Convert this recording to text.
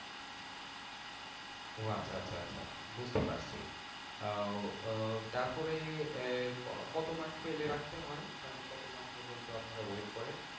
ও আচ্ছা আচ্ছা আচ্ছা বুঝতে পারছি আহ আহ তারপরে কত মাস ফেলে রাখতে হয়? মানে কত মাস পর্যন্ত আপনারা wait করেন?